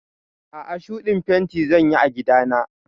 A'a, shuɗin fenti zan yi a gida na.